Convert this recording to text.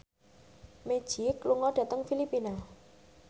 Magic lunga dhateng Filipina